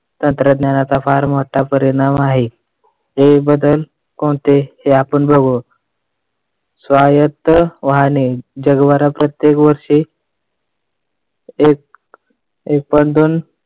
तंत्रज्ञानाचा फार मोठा परिणाम आहे. हे बदल कोणते हे आपण बघू स्वायत्त वाहने जगभर प्रत्येक वर्षी एक point दोन,